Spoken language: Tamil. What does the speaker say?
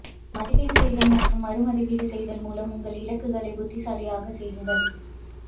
மதிப்பீடு செய்தல் மற்றும் மறு மதிப்பீடு செய்தல் மூலம் உங்கள் இலக்குகளை புத்திசாலியாக செய்யுங்கள்